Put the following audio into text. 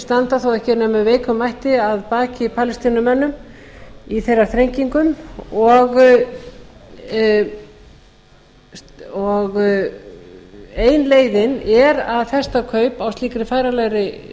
standa þó ekki nema með veikum mætti að baki palestínumönnum í þeirra þrengingum og ein leiðin er að festa kaup á slíkri færanlegri